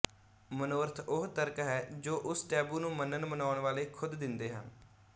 ਮਨੋਰਥ ਉਹ ਤਰਕ ਹੈ ਜੋ ਉਸ ਟੈਬੂ ਨੂੰ ਮੰਨਣਮੰਨਾਉਣ ਵਾਲੇ ਖੁਦ ਦਿੰਦੇ ਹਨ